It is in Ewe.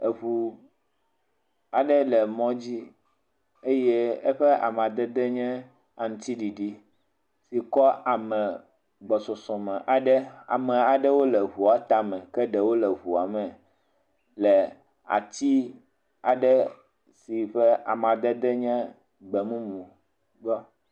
Eŋu aɖe le mɔ dzi, eye eƒe amadede nye aŋutiɖiɖi si kɔ ame gbɔsɔsɔme aɖe, ame aɖewo le ŋua tame, ke ɖewo le ŋua me le ati aɖe si ƒe amadede nye gbe mumu.